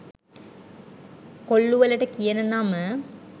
කොල්ලු වලට කියන නම